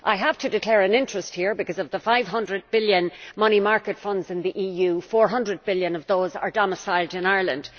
I have to declare an interest here because of the 500 billion money market funds in the EU, 400 billion of those are domiciled in Ireland.